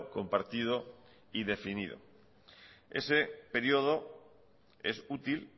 compartido y definido ese periodo es útil